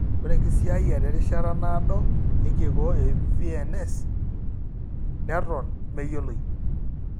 Ore enkisiayiare erishata naado enkikoo e VNS neton meyioloi.